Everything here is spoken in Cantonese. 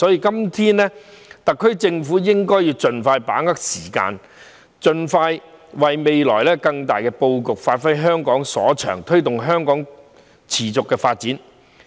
因此，特區政府應該盡快把握時間，盡快為未來作更大的布局，發揮香港所長，推動香港持續發展。